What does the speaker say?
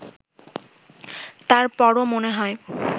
তারপরও মনে হয়